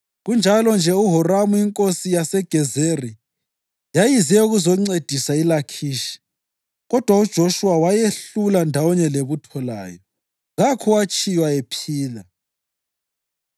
Kunjalo-nje uHoramu inkosi yaseGezeri yayize ukuzoncedisa iLakhishi kodwa uJoshuwa wayehlula ndawonye lebutho layo, kakho owatshiywa ephila.